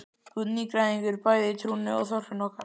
Þú ert nýgræðingur bæði í trúnni og þorpinu okkar.